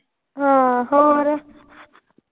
ਹਾਂ ਹੋਰ।